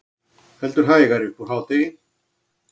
Heldur hægari upp úr hádegi